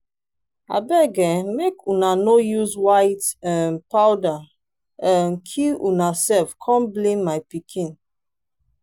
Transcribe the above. abeg um make una no use white um powder um kill una self come blame my pikin.